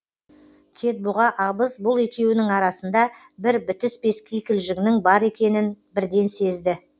кетбұға абыз бұл екеуінің арасында бір бітіспес кикілжіңнің бар екенін бірден сезді